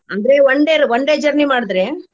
ಅಂದ್ರೆ one day one day journey ಮಾಡಿದ್ರೆ.